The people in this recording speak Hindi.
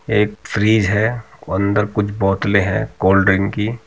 एक फ्रिज है और अदर कुछ बोत्तले है कोलड्रिक की --